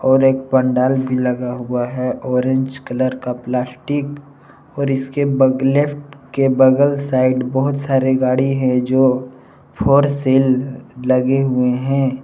और एक पंडाल भी लगा हुआ है। ऑरेंज कलर का प्लास्टिक और इसके बग लेफ्ट के बगल साइड बहुत सारे गाड़ी है जो फ़ोर सेल लगे हुए हैं।